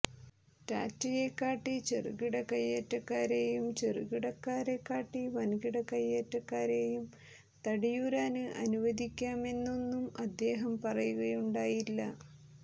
ടാറ്റയെ കാട്ടി ചെറുകിട കൈയേറ്റക്കാരെയും ചെറുകിടക്കാരെ കാട്ടി വന്കിട കൈയേറ്റക്കാരെയും തടിയൂരാന് അനുവദിക്കാമെന്നൊന്നും അദ്ദേഹം പറയുകയുണ്ടായില്ല